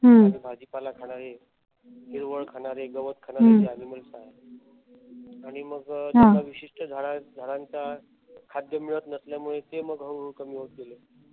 भाजीपाला खाणारे हिरवळ खाणारे गवत खाणारे जे animals आहेत. आणि मग विशिष्ट झाडा झाडांचा खाद्य मिळत नसल्यामुळे ते मग हळूहळू कमी होत गेले.